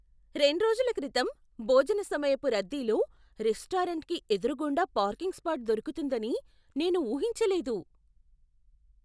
రెండ్రోజుల క్రితం, భోజన సమయపు రద్దీలో రెస్టారెంట్కి ఎదురుగుండా పార్కింగ్ స్పాట్ దొరుకుతుందని నేను ఊహించలేదు.